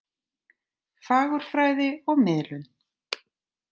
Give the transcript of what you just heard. Fagurfræði og miðlun.